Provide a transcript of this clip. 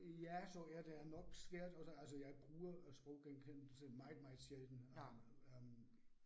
Ja, så er der nok svært, og der altså jeg bruger sproggenkendelse meget meget sjældent øh